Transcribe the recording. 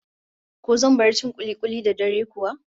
Ko zan bar cin kuli-kuli da dare kuwa?